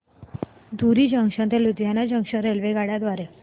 धुरी junction ते Ludhiana junction रेल्वेगाड्यां द्वारे